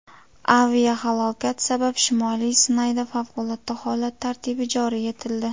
Aviahalokat sabab Shimoliy Sinayda favqulodda holat tartibi joriy etildi.